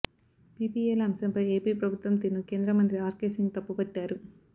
పీపీఏల అంశంపై ఏపీ ప్రభుత్వం తీరును కేంద్రమంత్రి ఆర్కే సింగ్ తప్పుబట్టారు